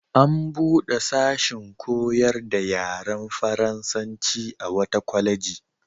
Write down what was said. An buɗe sashin koyar da yaren faransanci a wata kwaleji.